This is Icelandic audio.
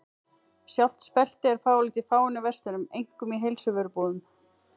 Sjálft speltið er fáanlegt í fáeinum verslunum, einkum í heilsuvörubúðum.